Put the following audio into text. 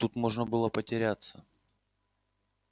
тут можно было потеряться